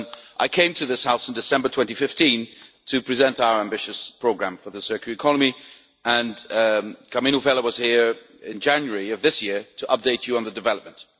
I came to this House in December 2015 to present our ambitious programme for the circular economy, and Karmenu Vella was here in January of this year to update you on developments.